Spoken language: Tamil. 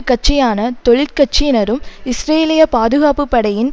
கட்சியான தொழிற் கட்சியினரும் இஸ்ரேலிய பாதுகாப்புபடையின்